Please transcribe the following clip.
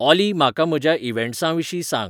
ऑली म्हाका म्हज्या इव्हॅन्ट्सांविशीं सांग